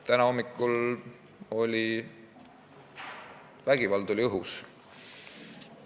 Täna hommikul oli vägivald õhus.